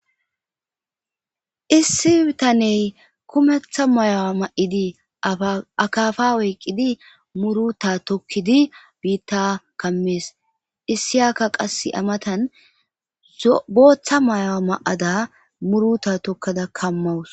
issi bittaney kumetha mayi7a ma7idi akafa oyqqidi muruta tokkidi biitta kammees issiniyakka qassi aa matan booththa mayi7o ma7ada muruta tokkadaka dawus